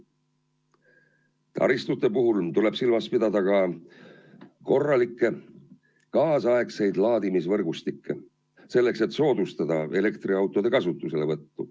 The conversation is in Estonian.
Taristute puhul tuleb silmas pidada ka korralikku kaasaegset laadimisvõrgustikku, selleks et soodustada elektriautode kasutuselevõttu.